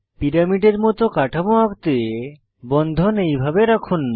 পিরামিডের মত কাঠামো আঁকতে বন্ধন এইভাবে রাখুন